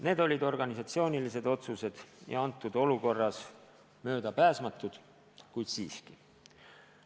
Need olid organisatsioonilised otsused ja kujunenud olukorras möödapääsmatud, kuid siiski.